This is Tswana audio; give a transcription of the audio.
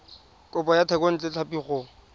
kopo ya thekontle tlhapi go